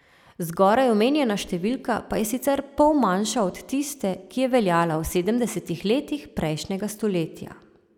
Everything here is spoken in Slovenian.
Zgoraj omenjena številka pa je sicer pol manjša od tiste, ki je veljala v sedemdesetih letih prejšnjega stoletja.